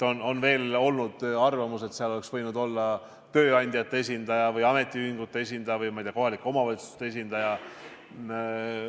On olnud arvamus, et seal oleks võinud olla tööandjate esindaja või ametiühingute esindaja või, ma ei tea, kohalike omavalitsuste esindaja.